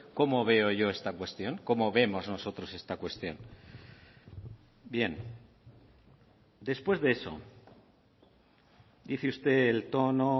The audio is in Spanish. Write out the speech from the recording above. cómo veo yo esta cuestión cómo vemos nosotros esta cuestión bien después de eso dice usted el tono